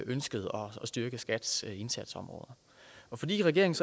ønske om at styrke skats indsatsområder og fordi regeringen